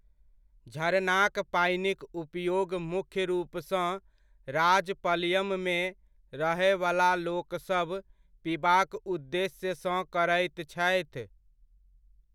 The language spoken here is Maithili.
झरनाक पानिक उपयोग मुख्य रूपसँ राजपलयममे रहयवला लोकसभ पीबाक उद्देश्यसँ करैत छथि।